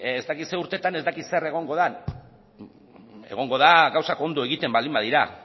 ez dakit zer urtetan ez dakit zer egongo den egongo da gauzak ondo egiten baldin badira